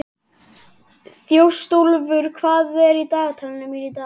Þjóstólfur, hvað er í dagatalinu mínu í dag?